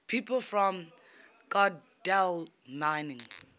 people from godalming